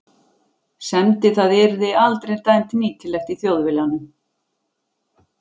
semdi- það yrði aldrei dæmt nýtilegt í Þjóðviljanum.